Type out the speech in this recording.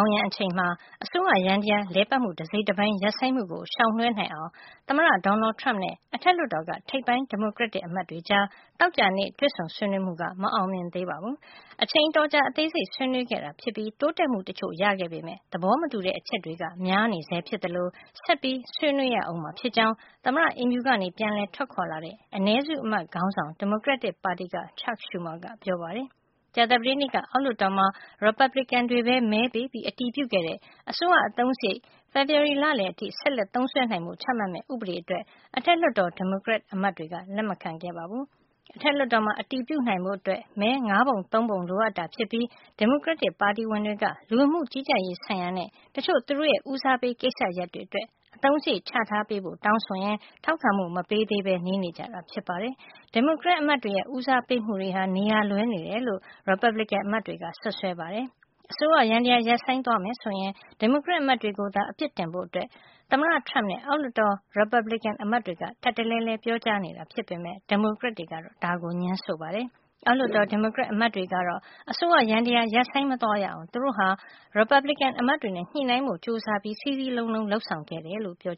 င်းယံ အချိန်မှာ အစိုးရယန္တရား လည်ပတ်မှု တစိတ်တပိုင်း ရပ်ဆိုင်းမှုကို ရှောင်လွှဲနိုင်အောင် သမ္မတ Donald Trump နဲ့ အထက်လွှတ်တော်က ထိပ်ပိုင်း ဒီမိုကရက်တစ် အမတ်တွေကြား သောကြာနေ့ တွေ့ဆုံဆွေးနွေးမှုက မအောင်မြင်ခဲ့ပါဘူး။ အချိန်အတော်ကြာ အသေးစိတ် ဆွေးနွေးခဲ့တာ ဖြစ်ပြီး တိုးတက်မှု တချို့ ရခဲ့ပေမယ့် သဘောမတူတဲ့ အချက်တွေက များနေဆဲ ဖြစ်သလို ဆက်ပြီး ဆွေးနွေးရအုံးမှာ ဖြစ်ကြောင်း သမ္မတအိမ်ဖြူကနေ ပြန်လည် ထွက်ခွါလာတဲ့ အနည်းစုအမတ် ခေါင်းဆောင် ဒီမိုကရက်တစ်ပါတီက Chuck Schumer က ပြောပါတယ်။ ကြာသပတေးနေ့က အောက်လွှတ်တော်မှာ Republican တွေပဲ မဲပေးပြီး အတည်ပြုခဲ့တဲ့ အစိုးရအသုံးစားရိတ် ဖေဖေါ်ဝါရီလလယ် အထိ ဆက်လက်သုံးစွဲနိုင်ဖို့ ချမှတ်မဲ့ ဥပဒေအတွက် အထက်လွှတ်တော် ဒီမိုကရက်အမတ်တွေက လက်မခံခဲ့ပါဘူး။ အထက်လွှတ်တော်မှာ အတည်ပြုနိုင်ဖို့ မဲ ၅ ပုံ ၃ ပုံလိုအပ်တာဖြစ်ပြီး ဒီမိုကရက်ပါတီဝင်တွေက လူဝင်မှု ကြီးကြပ်ရေးဆိုင်ရာနဲ့ တချို့ သူတို့ရဲ့ ဦးစားပေး ကိစ္စရပ်တွေ အတွက် အသုံးစားရိတ် ချထားပေးဖို့ တောင်းဆိုရင်း ထောက်ခံမှု မပေးသေးပဲ နေကြတာ ဖြစ်ပါတယ်။ ဒီမိုကရက်အမတ်တွေရဲ့ ဦးစားပေးမှုတွေဟာ နေရာလွဲနေတယ်လို့ ရီပတ်ဘလစ်ကင် အမတ်တွေက စွပ်စွဲပါတယ်။ အစိုးရယန္တရား ရပ်ဆိုင်းသွားမယ် ဆိုရင် ဒီမိုကရက်အမတ်တွေကို သာအပြစ်တင်ဖို့ သမ္မတ Trump နဲ့ အောက်လွှတ်တော် ရီပတ်ဘလစ်ကင် အမတ်တွေက ထပ်တလဲလဲ ပြောကြားနေတာ ဖြစ်ပေမယ့် ဒီမိုကရက်တွေကတော့ ဒါကိုငြင်းဆိုပါတယ်။ အောက်လွှတ်တော် ဒီမိုကရက်အမတ်တွေကတော့ အစိုးရယန္တရား ရပ်ဆိုင်း မသွားရအောင် သူတို့ဟာ ရီပတ်ဘလစ်ကင်အမတ်တွေနဲ့ ညှိနှိုင်းဖို့ ကြိုးစားပြီး စည်းစည်းလုံးလုံး လုပ်ဆောင်ခဲ့တယ်လို့ ပြော